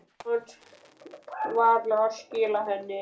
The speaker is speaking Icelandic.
Ég tímdi varla að skila henni.